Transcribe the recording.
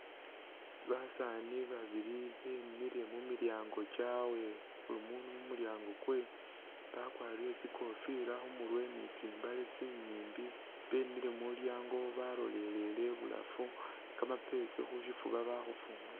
Basaani babili bemile mu milyaango kyabwe buli muunu mu mulyango kwe bakwarire tsi kofila khu murwe ni tsimbale tsinyimbi bemile muulyango balolelele ibulafu kamapesi khusyifuba bakhufunga ta.